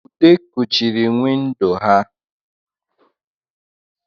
ude kuchiri windo ha